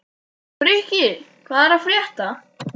Frikki, hvað er að frétta?